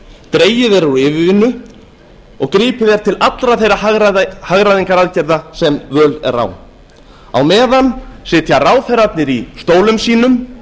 dregið er úr yfirvinnu og gripið er til allra þeirra hagræðingaraðgerða sem völ er á á meðan sitja ráðherrarnir í stólum sínum